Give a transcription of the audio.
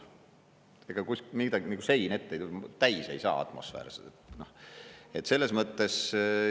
Ega midagi, nagu sein ette ei tule, täis ei saa atmosfäär selles mõttes.